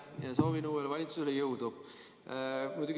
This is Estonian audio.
Ma soovin uuele valitsusele jõudu!